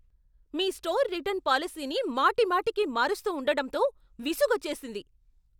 మీ store return పాలసీని మాటిమాటికి మారుస్తూ ఉండడంతో విసుగోచ్చేసింది.